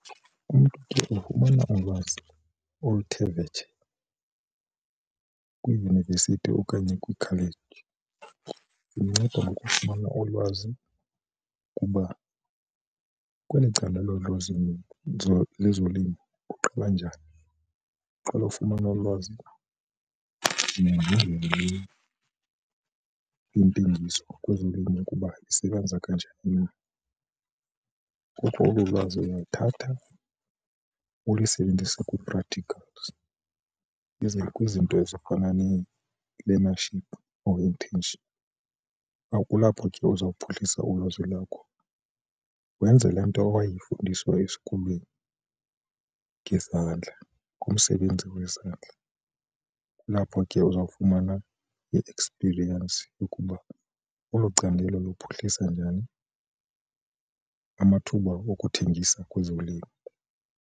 Umntu ke ufumana ulwazi oluthe vetshe kwiiyunivesithi okanye kwiikholeji. Zinceda ngokufumana olwazi kuba kweli candelo lezolimo uqala njani, uqale ufumana ulwazi yentengiso kwezolimo ukuba isebenza kanjani na. Ngoku olu lwazi uyalithatha ulisebenzise kwi-practicals iza kwizinto ezifana nee-learnership or internship. Apho kulapho ke uza kuphuhlisa ulwazi lwakho wenze le nto owayifundiswa esikolweni ngezandla kumsebenzi wezandla. Kulapho ke uzawufumana i-experience ukuba olo candelo luphuhlisa njani amathuba wokuthengisa kwezolimo.